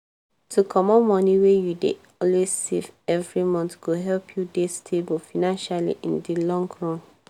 to comot moni wey you dey always save every month go help you dey stable financially in di long run